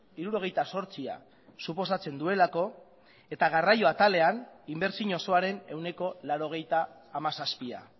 hirurogeita zortzia suposatzen duelako eta garraio atalean inbertsio osoaren ehuneko laurogeita hamazazpia